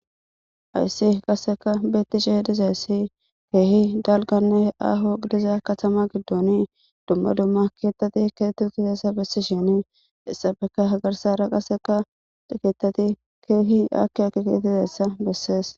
Hayssi qasseka bettiche dizayssi keehi dalganne aho diza katama giddoni dumma dumma keettati keettu tiseessa bessishini issabeka hagarsa ra qasseka diketati keehi akkia kiketizassa bessees.